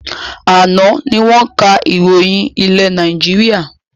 Àná ni wọn ká ìròyìn ilé Nàìjíríà